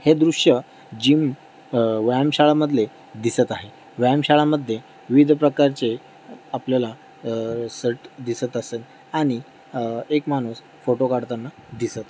हे दृश्य जिम अ व्यायाम शाळा मधले दिसत आहे. व्यायाम शाळा मध्ये विविध प्रकारचे आपल्याला अ सर्ट दिसत असल आणि अ एक माणूस फोटो काडताना दिसत.